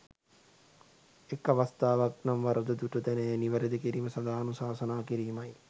එක් අවස්තාවක් නම් වරද දුටු තැන එය නිවරද කිරීම සඳහා අනුශාසනා කිරීමයි.